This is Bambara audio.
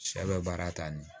Sɛ bɛ baara ta nin ye